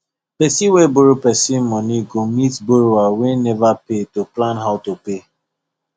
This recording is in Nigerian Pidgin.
person wey borrow person money go meet borrower wey never pay to plan how to pay